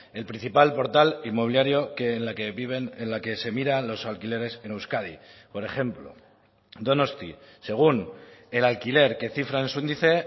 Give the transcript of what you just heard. el principal portal inmobiliario que en la que viven en la que se miran los alquileres en euskadi por ejemplo donosti según el alquiler que cifra en su índice